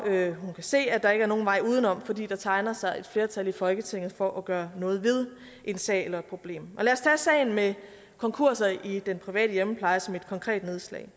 kan se at der ikke er nogen vej udenom fordi der tegner sig et flertal i folketinget for at gøre noget ved en sag eller et problem og sagen med konkurser i den private hjemmepleje som et konkret nedslag